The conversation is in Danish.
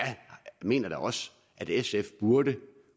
mener da også at sf burde